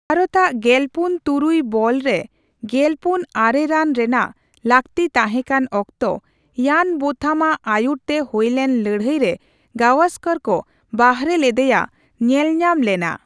ᱵᱷᱟᱨᱚᱛᱟᱜ ᱜᱮᱞᱯᱩᱱ ᱛᱩᱨᱩᱭ ᱵᱚᱞᱨᱮ ᱜᱮᱞᱯᱩᱱ ᱟᱨᱮ ᱨᱟᱱ ᱨᱮᱱᱟᱜ ᱞᱟᱠᱛᱤ ᱛᱟᱦᱮᱠᱟᱱ ᱚᱠᱛᱚ, ᱤᱭᱟᱱ ᱵᱳᱛᱷᱟᱢ ᱟᱜ ᱟᱭᱩᱨ ᱛᱮ ᱦᱳᱭᱞᱮᱱ ᱞᱟᱹᱲᱦᱟᱹᱭ ᱨᱮ ᱜᱟᱣᱚᱥᱠᱚᱨ ᱠᱚ ᱵᱟᱦᱨᱮᱞᱮᱫᱮᱭᱟ ᱧᱮᱞᱧᱟᱢ ᱞᱮᱱᱟ ᱾